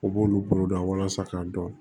U b'olu bolo dɔn walasa k'a dɔn